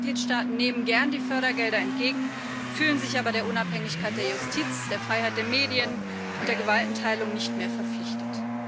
Immer mehr Mitgliedstaaten nehmen gern die Fördergelder entgegen, fühlen sich aber der Unabhängigkeit der Justiz, der Freiheit der Medien und der Gewaltenteilung nicht mehr verpflichtet.